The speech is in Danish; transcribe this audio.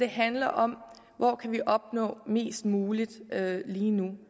handler om hvor kan vi opnå mest muligt lige nu